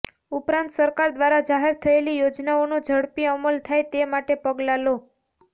ઉપરાંત સરકાર દ્વારા જાહેર થયેલી યોજનાઓનો ઝડપી અમલ થાય તે માટે પગલાં લો